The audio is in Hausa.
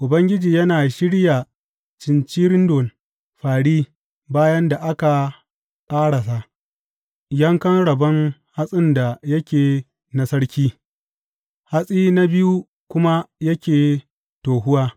Ubangiji yana shirya cincirindon fāri bayan da aka ƙarasa yankan rabon hatsin da yake na sarki, hatsi na biyu kuma yake tohuwa.